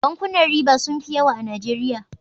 Bankunan riba sun fi yawa a najeriya